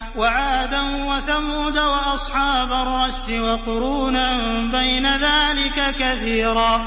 وَعَادًا وَثَمُودَ وَأَصْحَابَ الرَّسِّ وَقُرُونًا بَيْنَ ذَٰلِكَ كَثِيرًا